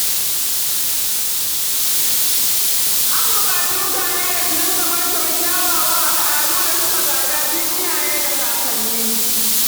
An buƙaci mutane da su dinga martaba kyawawan al'adu da suka gada tun iyaye da kakanni.